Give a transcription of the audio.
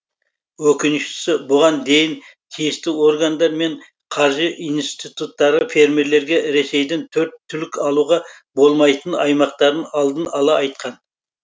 өкініштісі бұған дейін тиісті органдар мен қаржы институттары фермерлерге ресейдің төрт түлік алуға болмайтын аймақтарын алдын ала айтқан